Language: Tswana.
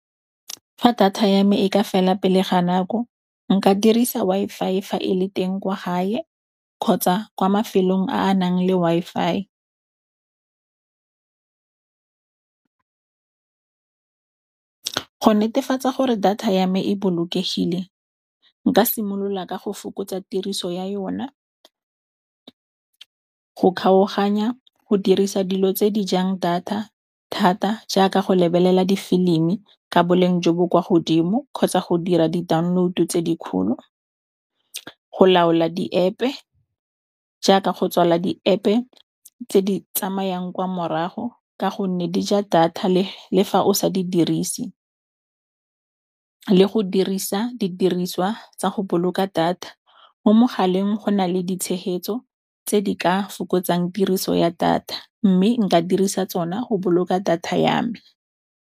Fa data ya me e ka fela pele ga nako nka dirisa Wi-Fi fa e le teng kwa gae kgotsa kwa mafelong a a nang le Wi-Fi . Go netefatsa gore data ya me e bolokegile nka simolola ka go fokotsa tiriso ya yona go kgaoganya go dirisa dilo tse di jang data thata jaaka go lebelela difilimi ka boleng jo bo kwa godimo kgotsa go dira di-download tse dikgolo. Go laola di-App-e, jaaka go tswala di-App-e tse di tsamayang kwa morago ka gonne dija data le fa o sa di dirise, le go dirisa didiriswa tsa go boloka data. Mo mogaleng go na le ditshegetso tse di ka fokotsang tiriso ya data mme nka dirisa tsona go boloka data ya me.